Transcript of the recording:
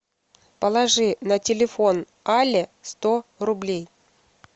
положи на телефон алле сто рублей